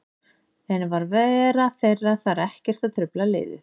En var vera þeirra þar ekkert að trufla liðið?